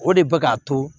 O de bɛ k'a to